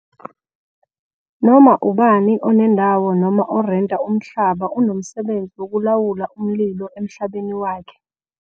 Noma ubani onendawo, noma orenta umhlaba unomsebenzi wokulawula umlilo emhlabeni wakhe.